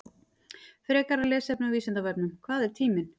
Frekara lesefni á Vísindavefnum: Hvað er tíminn?